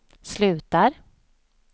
slutar